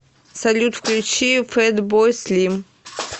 салют включи фэтбой слим